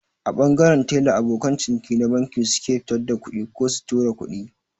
A ɓangaren tela abokan ciniki na banki suke fitar da kuɗi ko su tura kuɗi